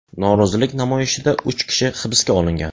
Norozilik namoyishida uch kishi hibsga olingan.